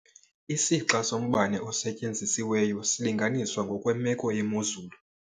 Isixa sombane osetyenzisiweyo silinganiswa ngokwemeko yemozulu.